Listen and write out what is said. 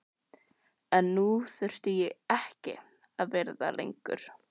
En nú þurfti ég ekki að vera það lengur.